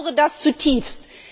Ich bedaure das zutiefst.